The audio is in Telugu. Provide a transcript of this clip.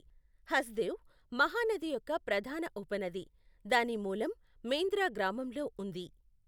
హస్దేవ్, మహానది యొక్క ప్రధాన ఉపనది, దాని మూలం మేంద్ర గ్రామంలో ఉంది.